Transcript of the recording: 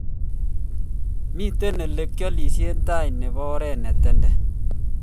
miten olegialishen tai nebo oret ne tenden